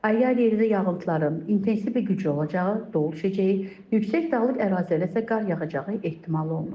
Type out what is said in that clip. Ayrı-ayrı yerlərdə yağıntıların intensiv və güclü olacağı, dolu düşəcəyi, yüksək dağlıq ərazilərdə isə qar yağacağı ehtimal olunur.